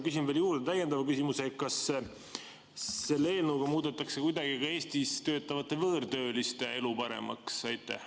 Küsin veel juurde täiendava küsimuse: kas selle eelnõuga muudetakse kuidagi ka Eestis töötavate võõrtööliste elu paremaks?